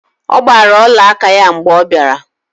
Ọ gbara olaaka ya mgbe ọ bịara